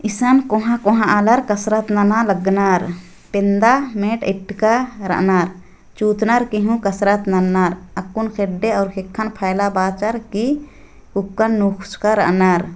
इहाँ कोंहा कोंहा आलर कसरत नाना लगनार पेंदा मेट एकटका रानार चूतनार कहो कसरत नानार आकून खेड़े और खेखा फैला बाचार की उक्का नुस्का रानार